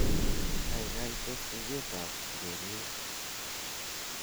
gaigai tes tuget ab ureryet